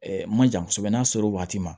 Ɛɛ man ca kosɛbɛ n'a sera o waati ma